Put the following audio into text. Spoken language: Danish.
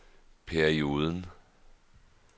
perioden